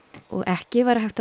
og ekki væri hægt að